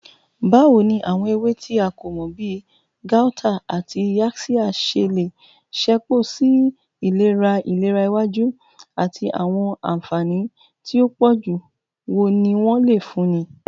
Bawo ni awọn ewe ti a ko mọ bi gauta ati yaxiya ṣe le ṣepọ si ilera ilera iwaju, ati awọn anfani ti o pọju wo ni wọn le funni?